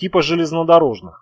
типа железнодорожных